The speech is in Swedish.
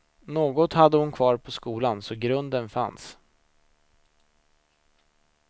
Något hade hon kvar på skolan, så grunden fanns.